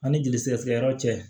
Ani jeli sɛgɛsɛgɛ yɔrɔ cɛ